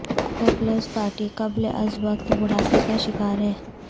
Peoples Party قبل از وقت بڑھاپے کا شکار ہے